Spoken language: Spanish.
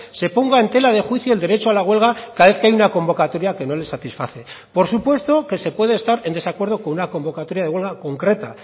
se ponga en tela de juicio el derecho a la huelga cada vez que hay una convocatoria que no les satisface por supuesto que se puede estar en desacuerdo con una convocatoria de huelga concreta